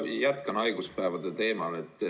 Ma jätkan haiguspäevade teemal.